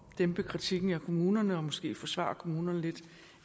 dæmpe kritikken af kommunerne og måske forsvarer kommunerne lidt